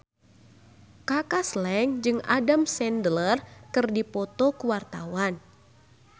Kaka Slank jeung Adam Sandler keur dipoto ku wartawan